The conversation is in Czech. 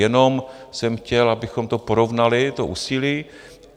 Jenom jsem chtěl, abychom to porovnali to úsilí.